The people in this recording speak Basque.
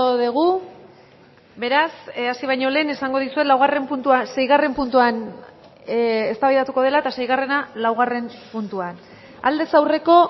dugu beraz hasi baino lehen esango dizuet laugarren puntua seigarren puntuan eztabaidatuko dela eta seigarrena laugarren puntuan aldez aurreko